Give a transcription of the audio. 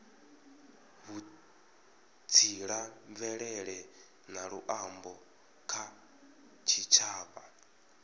vhutsila mvelele na luambo kha tshitshavha